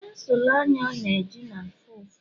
pensụl anya ọ na-eji na-afụ ụfụ